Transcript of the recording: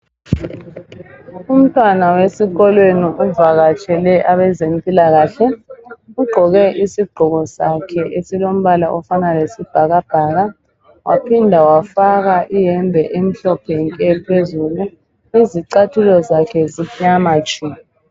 Umntwana wesikolweni uvakatshele abezempilakahle ugqoke isigqoko sakhe esilombala ofana lesibhakabhaka waphinda wafaka iyembe emhlophe nke phezulu izicathulo zakhe zimnyama tshu.